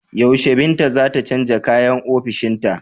Yaushe Binta za ta canja kayan ofishinta.